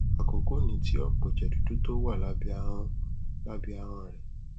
àkọkọ ni ti òpó ẹjẹ dúdú tó wà lábẹ ahọn lábẹ ahọn rẹ